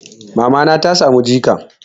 Mamana ta samu jika.